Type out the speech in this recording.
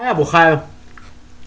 я бухаю